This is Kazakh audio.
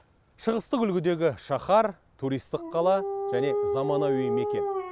шығыстық үлгідегі шаһар туристік қала және заманауи мекен